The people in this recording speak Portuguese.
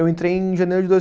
Eu entrei em janeiro de